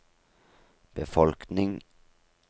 befolkning